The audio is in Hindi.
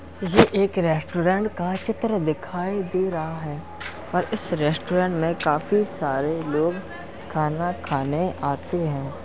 ये एक रेस्टोरेंट का चित्र दिखाई दे रहा है और इस रेस्टोरेंट में काफी सारे लोग खाना खाने आते हैं।